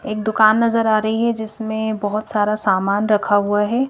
एक दुकान नजर आ रही है जिसमें बहुत सारा सामान रखा हुआ है।